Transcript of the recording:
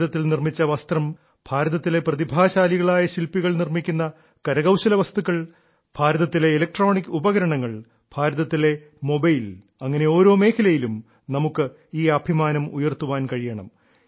ഭാരതത്തിൽ നിർമ്മിച്ച വസ്ത്രം ഭാരതത്തിലെ പ്രതിഭാശാലികളായ ശില്പികൾ നിർമ്മിക്കുന്ന കരകൌശല വസ്തുക്കൾ ഭാരതത്തിലെ ഇലക്ട്രോണിക് ഉപകരണങ്ങൾ ഭാരതത്തിലെ മൊബൈൽ അങ്ങനെ ഓരോ മേഖലയിലും നമുക്ക് ഈ അഭിമാനം ഉയർത്താൻ കഴിയണം